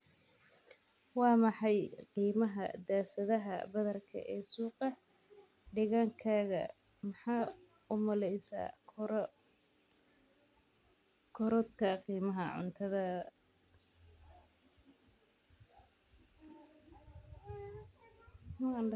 wa maxay qimaha daasadaha badarka ee suqa deegaankaaga maxa u malesa korodhka qimaha cuntada